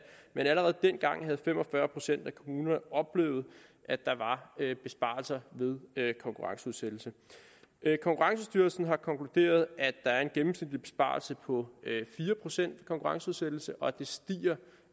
men allerede dengang havde fem og fyrre procent af kommunerne oplevet at der var besparelser ved konkurrenceudsættelse konkurrencestyrelsen har konkluderet at der er en gennemsnitlig besparelse på fire procent ved konkurrenceudsættelse og